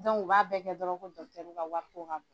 u b'a bɛɛ kɛ dɔrɔn ko ka wariko ka bon..